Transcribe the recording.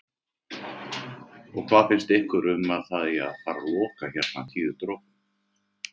Þórhildur: Og hvað finnst ykkur um að það eigi að fara loka hérna Tíu dropum?